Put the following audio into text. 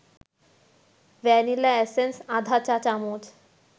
vanilla essence আধা চা-চামচ